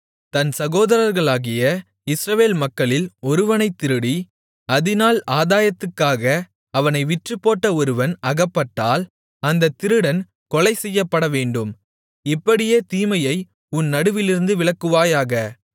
தன் சகோதரர்களாகிய இஸ்ரவேல் மக்களில் ஒருவனைத் திருடி அதினால் ஆதாயத்துக்காக அவனை விற்றுப்போட்ட ஒருவன் அகப்பட்டால் அந்தத் திருடன் கொலைசெய்யப்படவேண்டும் இப்படியே தீமையை உன் நடுவிலிருந்து விலக்குவாயாக